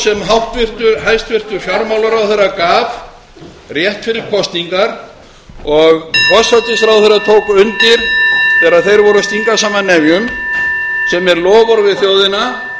loforð sem hæstvirtur fjármálaráðherra gaf rétt fyrir kosningar og forsætisráðherra tók undir þegar þeir voru að stinga saman nefjum sem er loforð við þjóðina með því að samþykkja þessa tillögu og taka þetta á dagskrá þá